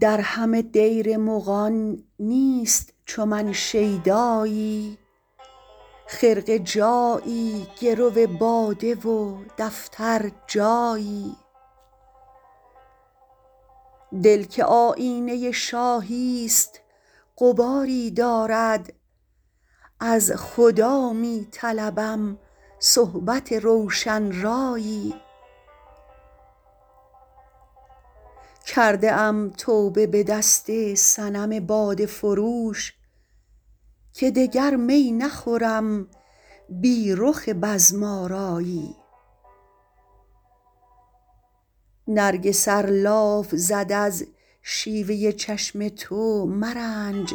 در همه دیر مغان نیست چو من شیدایی خرقه جایی گرو باده و دفتر جایی دل که آیینه شاهی ست غباری دارد از خدا می طلبم صحبت روشن رایی کرده ام توبه به دست صنم باده فروش که دگر می نخورم بی رخ بزم آرایی نرگس ار لاف زد از شیوه چشم تو مرنج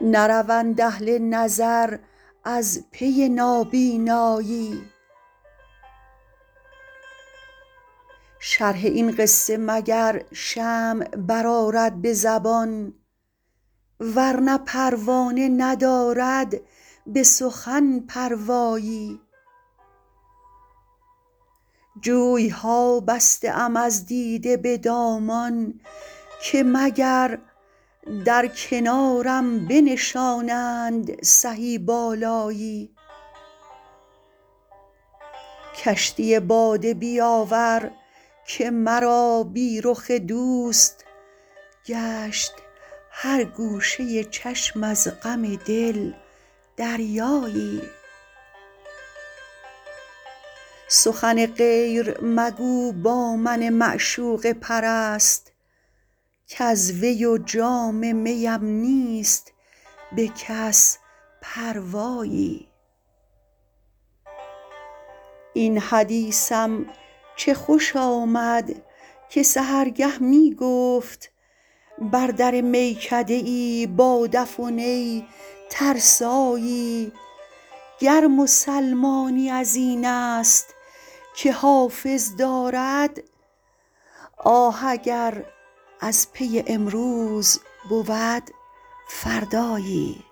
نروند اهل نظر از پی نابینایی شرح این قصه مگر شمع برآرد به زبان ورنه پروانه ندارد به سخن پروایی جوی ها بسته ام از دیده به دامان که مگر در کنارم بنشانند سهی بالایی کشتی باده بیاور که مرا بی رخ دوست گشت هر گوشه چشم از غم دل دریایی سخن غیر مگو با من معشوقه پرست کز وی و جام می ام نیست به کس پروایی این حدیثم چه خوش آمد که سحرگه می گفت بر در میکده ای با دف و نی ترسایی گر مسلمانی از این است که حافظ دارد آه اگر از پی امروز بود فردایی